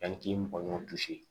Ani k'i mɔgɔ ɲɔgɔnw gosi